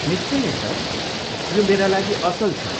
निश्चय नै, सर। यो मेरा लागि असल छ।